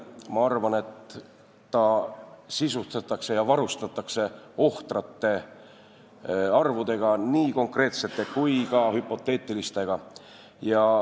Ma arvan, et ta sisustatakse ja varustatakse ohtrate arvudega, nii konkreetsete kui ka hüpoteetilistega.